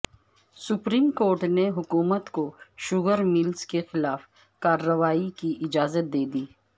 supreme court نے حکومت کو شوگر ملز کے خلاف کارروائی کی اجازت دے دی